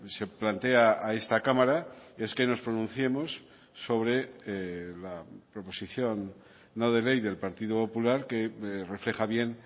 se plantea a esta cámara es que nos pronunciemos sobre la proposición no de ley del partido popular que refleja bien